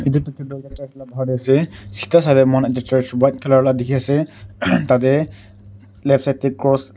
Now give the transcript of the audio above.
etu picture bahar te ase sida sai le moikhan ekta church white colour la dikhi ase tate left side te cross .